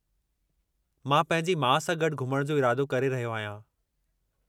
मां पंहिंजी माउ सां गॾु घुमण जो इरादो करे रहियो आहियां।